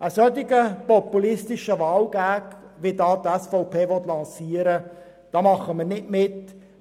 Bei einem solch populistischen Wahl-Gag, wie ihn die SVP hier lancieren will, machen wir nicht mit.